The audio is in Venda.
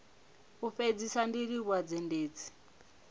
u fhedzisa ndi livhuwa zhendedzi